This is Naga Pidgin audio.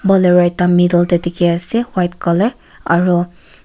bolero ekta middle tae dikhiase white colour aru.